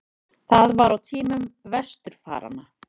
Það var á tímum vesturfaranna.